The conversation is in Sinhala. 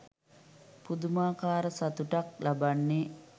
පුදුමාකාර සතුටක් ලබන්නේ.